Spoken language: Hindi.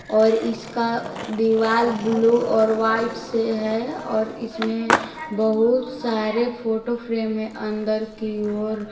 और इसका दीवार ब्ल्यू और व्हाइट से है और इसमें बहुत सारे फोटो फ्रेम हैं अंदर की ओर।